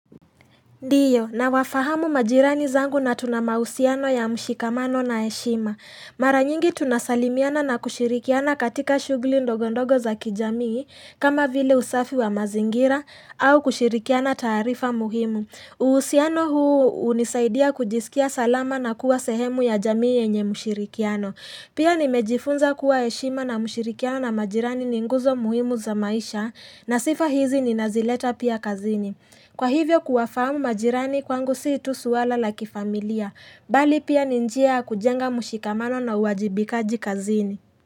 Ndiyo, na wafahamu majirani zangu na tuna mahusiano ya mshikamano na heshima. Mara nyingi tunasalimiana na kushirikiana katika shughuli ndogondogo za kijamii, kama vile usafi wa mazingira, au kushirikiana taarifa muhimu. Uhusiano huu unisaidia kujisikia salama na kuwa sehemu ya jamii yenye mshirikiano. Pia nimejifunza kuwa heshima na mshirikiano na majirani ni nguzo muhimu za maisha, na sifa hizi ninazileta pia kazini. Kwa hivyo kuwafamu majirani kwangu sii tu swala la kifamilia, bali pia ni njia ya kujenga mshikamano na uwajibikaji kazini.